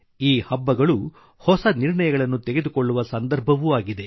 ಈ ಹಬ್ಬಗಳು ಹೊಸ ನಿರ್ಣಯಗಳನ್ನು ತೆಗೆದುಕೊಳ್ಳುವ ಸಂದರ್ಭವೂ ಆಗಿದೆ